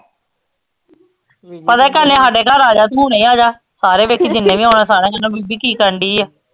ਹਾਡੇ ਘਰ ਆਜਾ ਤੂੰ ਹੁਣੇ ਆਜਾ ਸਾਰੇ ਵੇਖੀ ਜਿੰਨੇ ਵੀ ਆਉਣਾ ਸਾਰਿਆਂ ਨੇ ਤੈਨੂੰ ਬੀਬੀ ਕੀ ਕਰਨ ਡਈ ਆ